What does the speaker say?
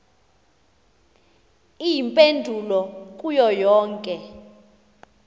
iimpendulo kuyo yonke